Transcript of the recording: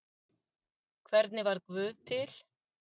Hvernig varð guð til?